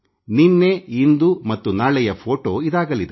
ನಿನ್ನೆ ಇಂದು ಮತ್ತು ನಾಳೆಯ ಫೋಟೊ ಇದಾಗಲಿದೆ